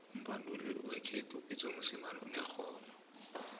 umbanduli wekhethu upitso mosemane unerhono